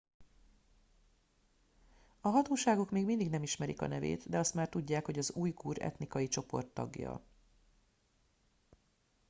a hatóságok még mindig nem ismerik a nevét de azt már tudják hogy az ujgur etnikai csoport tagja